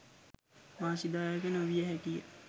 වාසිදායක නොවිය හැකිය.